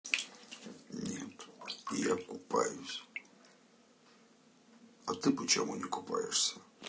нет я купаюсь а ты почему не купаешься